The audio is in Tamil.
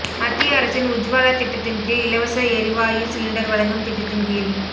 மத்திய அரசின் உஜ்வாலா திட்டத்தின் கீழ் இலவச எரிவாயு சிலிண்டர் வழங்கும் திட்டத்தின் கீழ்